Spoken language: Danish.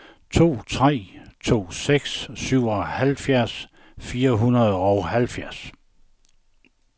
to tre to seks syvoghalvfjerds fire hundrede og halvfjerds